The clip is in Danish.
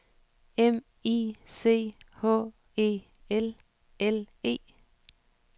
M I C H E L L E